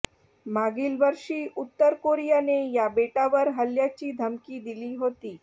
मागील वर्षी उत्तर कोरियाने या बेटावर हल्ल्याची धमकी दिली होती